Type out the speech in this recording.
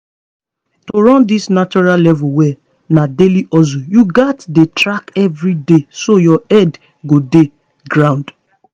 to run this natural level well na daily hustle you gats dey track everyday so your head go dey ground.